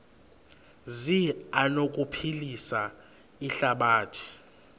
zi anokuphilisa ihlabathi